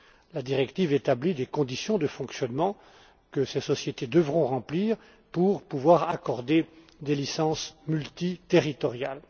Elle établit des conditions de fonctionnement que ces sociétés devront remplir pour pouvoir accorder des licences multiterritoriales.